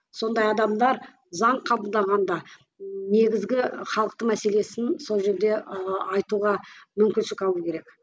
сондай адамдар заң қабылдағанда негізгі халықтың мәселесін сол жерде айтуға мүмкіншілік алу керек